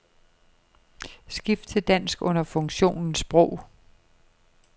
Skift til dansk under funktionen sprog.